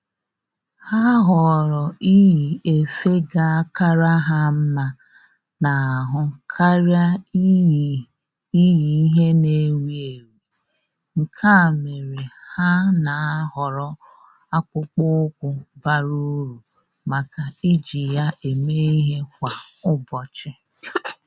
Ha họọrọ iyi efe ga akara ha mma n'ahụ karịa iyi iyi ihe na-ewi ewi, nke a mere ha nà-àhọ́rọ́ akpụkpọ́ụkwụ́ bara uru màkà iji ya èmé ìhè kwa ụ́bọ̀chị̀